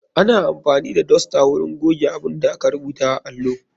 Ana amfani da dosta wurin goge abunda aka rubuta a allo.